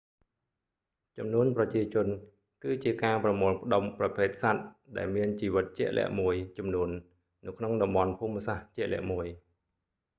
ចំនួនប្រជាជនគឺជាការប្រមូលផ្តុំប្រភេទសត្វ ដែលមានជីវិតជាក់លាក់មួយចំនួននៅក្នុងតំបន់ភូមិសាស្ត្រជាក់លាក់មួយ